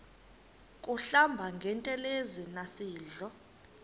kuhlamba ngantelezi nasidlo